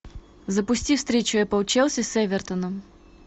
запусти встречу апл челси с эвертоном